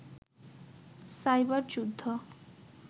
cyber যুদ্ধ